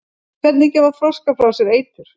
hvernig gefa froskar frá sér eitur